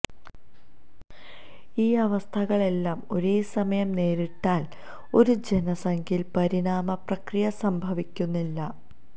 ഈ അവസ്ഥകളെല്ലാം ഒരേ സമയം നേരിട്ടാൽ ഒരു ജനസംഖ്യയിൽ പരിണാമ പ്രക്രിയ സംഭവിക്കുന്നില്ല